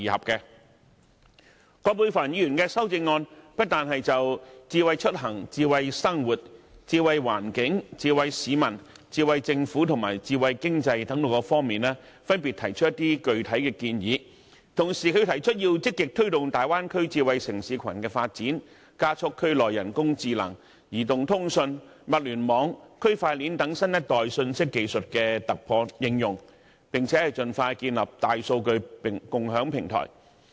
葛珮帆議員的修正案不單就智慧出行、智慧生活、智慧環境、智慧市民、智慧政府及智慧經濟等方面分別提出具體建議，同時，她又提出要積極推動粵港澳大灣區智慧城市群的發展，加速區內人工智能、移動通信、物聯網和區塊鏈等新一代信息技術的突破應用，並盡快建立大數據共享平台。